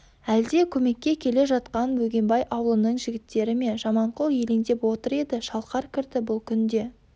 әлде көмекке келе жатқан бөгенбай аулының жігіттері ме жаманқұл елеңдеп отыр еді шалқар кірді бұл күнде